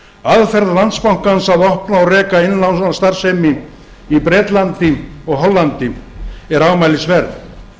aðferð landsbankans að opna og reka innlánsstarfsemi í bretlandi og hollandi er ámælisverð